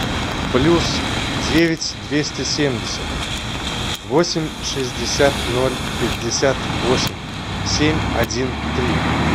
плюс девять двести семьдесят восемь шестьдесят ноль пятьдесят восемь семь один три